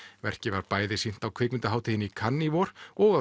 verkið var bæði sýnt á kvikmyndahátíðinni í Cannes í vor og